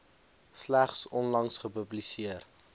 slegs onlangs gepubliseer